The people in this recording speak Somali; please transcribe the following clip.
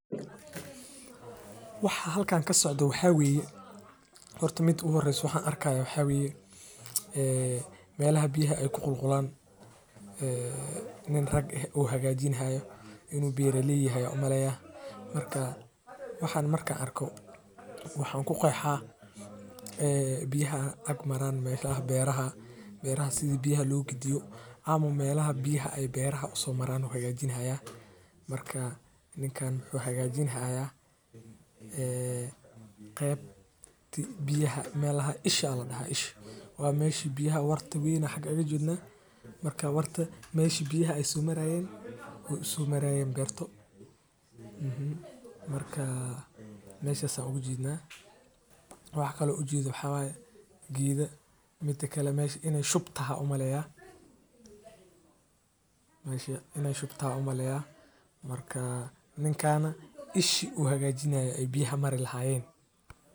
Waxa halkan kasocdo waxa waye meelaha biyaha aay ku qulqulaan nim rag ah oo hagaajini haayo beeraha biyaha maraan waxeey keeni kartaa cafimaad xumo ama wax kale majiraan waxaas kabexe dibata iyo xanuun fara badan ayeey ledahay marka waa sheey aad muhiim u ah.